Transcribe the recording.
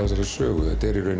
þessari sögu